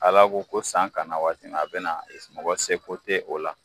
Ala ko ko san ka na waati min na a bɛ na mɔgɔ seko tɛ o la.